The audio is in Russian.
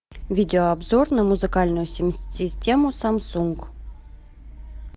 видеообзор на музыкальную систему самсунг